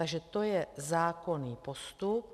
Takže to je zákonný postup.